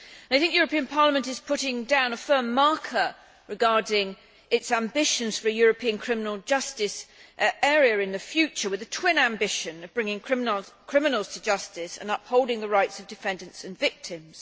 I think the European Parliament is putting down a firm marker regarding its ambitions for a European criminal justice area in the future, with the twin ambition of bringing criminals to justice and upholding the rights of defendants and victims.